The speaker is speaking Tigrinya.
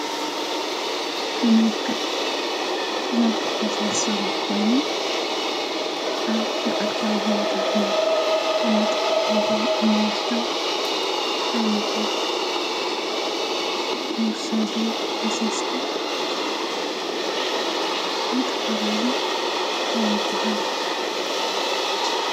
ብመልክዕ ፈሳሲ ኮይኖም ኣብ መዓልታዊ ህይወታትና እንጥቀመሎም እንወስዶም ዓይነታት ዝውሰዱ ፈሰስቲ ብኣጠቓላሊ እንታይ ይበሃሉ?